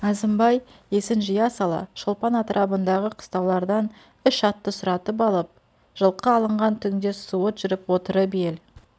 әзімбай есін жия сала шолпан атырабындағы қыстаулардан үш атты сұратып алып жылқы алынған түңде суыт жүріп отырып ел